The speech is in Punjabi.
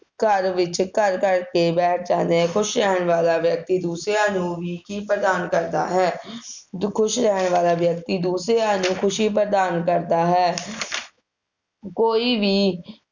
ਘਰ ਵਿਚ ਘਰ ਕਰਕੇ ਬੈਠ ਜਾਂਦੇ ਆ ਖੁਸ਼ ਰਹਿਣ ਵਾਲਾ ਵਿਅਕਤੀ ਦੂਸਰਿਆਂ ਨੂੰ ਵੀ ਕੀ ਪ੍ਰਦਾਨ ਕਰਦਾ ਹੈ? ਜੋ ਖੁਸ਼ ਰਹਿਣ ਵਾਲਾ ਵਿਅਕਤੀ ਦੂਸਰਿਆਂ ਨੂੰ ਖੁਸ਼ੀ ਪ੍ਰਦਾਨ ਕਰਦਾ ਹੈ ਕੋਈ ਵੀ